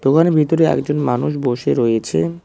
দোকানের ভেতরে একজন মানুষ বসে রয়েছেন।